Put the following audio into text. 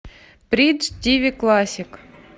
бридж тв классик